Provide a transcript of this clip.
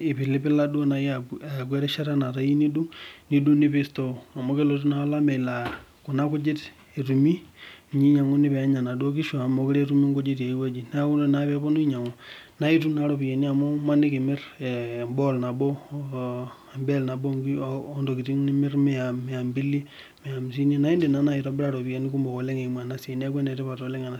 ipilipika aaku erishata neeeta iyiu nindug nipik store amu kelotu naa olameyu laa kuna kujit etumi ninye inguni peenya naduoo kishu amu meekure etumi kulie kujit tiaaye wueji neeku ore naa piitoki ainyang'u naaitum naa ropiyiani amu maniki imirr ee bell nabo ooh ntokitin nimirr Mia mbili Mia hamisini neeku idim naai itobira iropiyani sidai neeku enetipat ena Siaii.